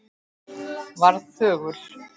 Varð þögul.